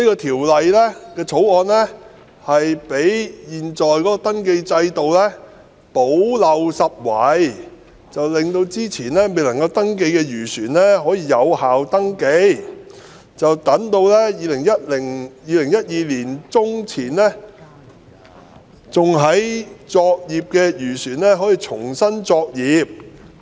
《條例草案》將為現時的登記制度補漏拾遺，使之前未能登記的漁船可獲登記，從而令2012年年中前仍在作業的漁船可以重新作業。